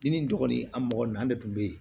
Ni nin dɔgɔnin an mɔgɔ nunnu an de kun be yen